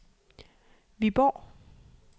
Viborg